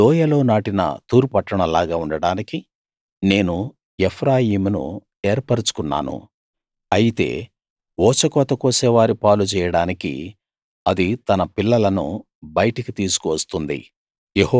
లోయలో నాటిన తూరు పట్టణం లాగా ఉండడానికి నేను ఎఫ్రాయిమును ఏర్పరచుకున్నాను అయితే ఊచకోత కోసేవారి పాలు చెయ్యడానికి అది తన పిల్లలను బయటికి తీసుకు వస్తుంది